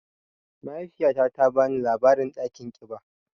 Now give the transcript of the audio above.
Mahaifiyata ta bani labarin dakin kiɓa.